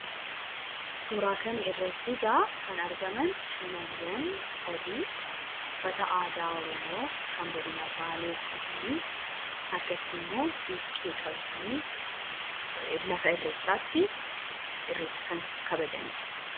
suuraa kana irratti egaa kan argaman shamarran sadii uffata aadaa oromoo kan godina baalee uffatanii harkattii immoo siiqee qabatanii lafa irreechaatti irrecha kan kabajaniidha